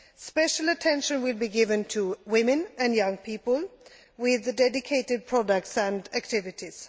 Special attention will be given to women and young people, with dedicated products and activities.